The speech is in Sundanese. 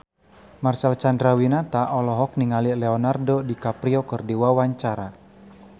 Marcel Chandrawinata olohok ningali Leonardo DiCaprio keur diwawancara